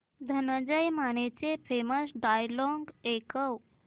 धनंजय मानेचे famous dialogue ऐकव